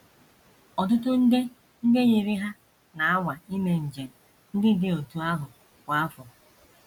Ọtụtụ nde ndị yiri ha na - anwa ime njem ndị dị otú ahụ kwa afọ.